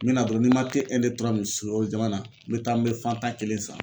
N bɛ na dɔrɔn n'i man min sukaro jama na n bɛ taa n bɛ Fanta kelen san.